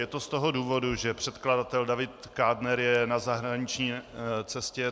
Je to z toho důvodu, že předkladatel David Kádner je na zahraniční cestě.